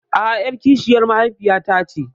A'a, ƴar kishiyar mahaifiyata ce.